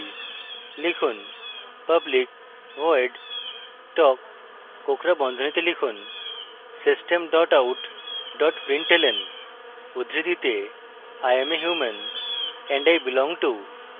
লিখুন: public void talk কোঁকড়া বন্ধনীতে লিখুন system out println উদ্ধৃতিতে i am a human and i belong to